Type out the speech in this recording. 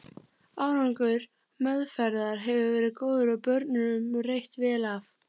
Árangur meðferðar hefur verið góður og börnunum reitt vel af.